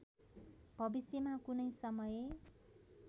भविष्यमा कुनै समय